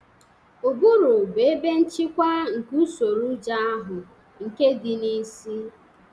Ụbụrụ bụ ebe nchịkwa nke usoro ụjọ ahụ, nke dị na isi.